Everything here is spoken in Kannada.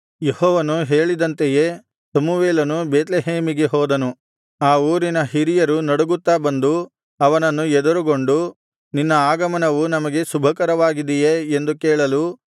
ಯೆಹೋವನು ಹೇಳಿದಂತೆಯೇ ಸಮುವೇಲನು ಬೇತ್ಲೆಹೇಮಿಗೆ ಹೋದನು ಆ ಊರಿನ ಹಿರಿಯರು ನಡುಗುತ್ತಾ ಬಂದು ಅವನನ್ನು ಎದುರುಗೊಂಡು ನಿನ್ನ ಆಗಮನವು ನಮಗೆ ಶುಭಕರವಾಗಿದೆಯೇ ಎಂದು ಕೇಳಲು